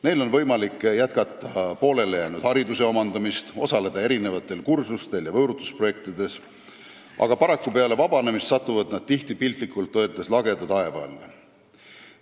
Neil on võimalik jätkata poolelijäänud hariduse omandamist, osaleda kursustel ja võõrutusprojektides, aga paraku satuvad nad peale vabanemist tihti piltlikult öeldes lageda taeva alla.